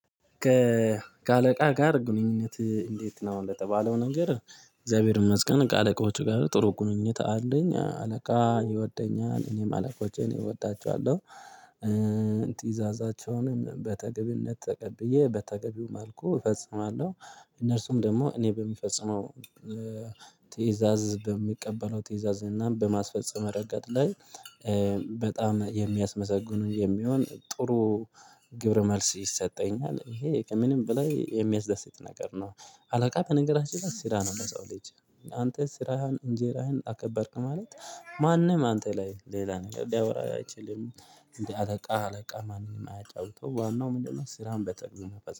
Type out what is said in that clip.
ከእ ከአለቃ ጋር ግንኙነትህ እንዴት ነው? አሁን ለተባለው ነገር እግዚአብሔር ይመስገን ከአለቃዎቹ ጋር ጥሩ ግንኙነት አለኝ አለቃ ይወደኛል እኔም አለቆቼን እወዳቸዋለሁ እእ ቲዛዛቸውንም በተገቢነት ተቀብዬ በተገቢውም መልኩ እፈጽማለሁ። እነርሱም ደግሞ እኔ በሚፈጽመው ትእዛዝ በሚቀበለው ትእዛዝ እና በማስፈጸም ረገድ ላይ እ በጣም የሚያስመሰግኑ የሚሆን ጥሩ ግብረ መልስ ይሰጠኛል። ይሄ ከምንም በላይ የሚያስደስት ነገር ነው። አለቃ ከነገራችን ላይ ስራ ነው። ለሰው ልጅ አንተ ስራህን እንጀራህን አከበርክ ማለት ማንም አንተ ላይ ሌላ ነገር ሊያወራ አይችልም። እንዴ አለቃ አለቃ ማንም አያጫውተው ዋናው ምንድነው? ስራን በተግባር መፈጸም